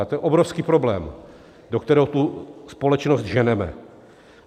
A to je obrovský problém, do kterého tu společnost ženeme.